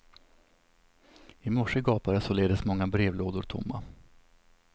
I morse gapade således många brevlådor tomma.